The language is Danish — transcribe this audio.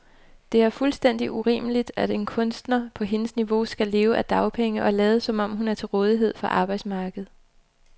Det er fuldstændig urimeligt, at en kunstner på hendes niveau skal leve af dagpenge og lade, som om hun er til rådighed for arbejdsmarkedet.